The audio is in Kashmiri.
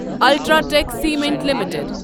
UltraTech cement limited